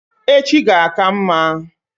Echi ga-aka mma